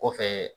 Kɔfɛ